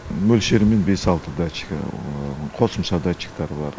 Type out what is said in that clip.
мөлшерімен бес алты датчик қосымша датчиктары бар